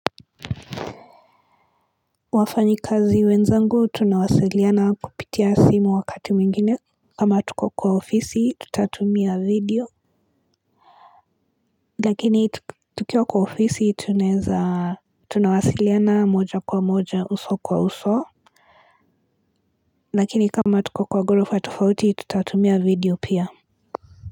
Wafanyi kazi wenzangu tunawasiliana kupitia simu wakati mwingine kama hatuko kwa ofisi tutatumia video lakini tukiwa kwa ofisi tuneza tunawasiliana moja kwa moja uso kwa uso lakini kama tuko kwa gorofa tufauti tutatumia video pia.